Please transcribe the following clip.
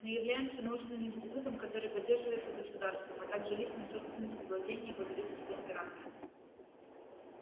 мы являемся научным институтом который поддерживается государством а также личной собственностью владений его величества императора